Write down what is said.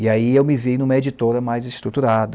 E aí eu me vi em uma editora mais estruturada.